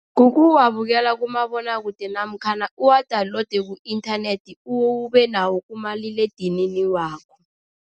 Kukuwabukela kumabonwakude namkhana uwa-download ku-inthanethi, ubenawo kumaliledinini wakho.